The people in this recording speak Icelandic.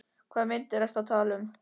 Hvaða myndir ertu að tala um?